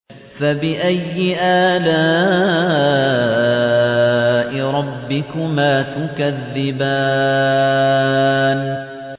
فَبِأَيِّ آلَاءِ رَبِّكُمَا تُكَذِّبَانِ